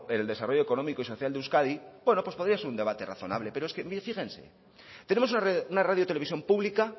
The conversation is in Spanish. el desarrollo económico y social de euskadi bueno pues pudiera ser un debate razonable pero es que mire fíjense tenemos una radio televisión pública